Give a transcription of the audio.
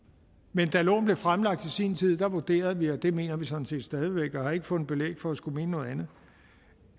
men da loven blev fremlagt i sin tid vurderede vi og det mener vi sådan set stadig væk og har ikke fundet belæg for at skulle mene noget andet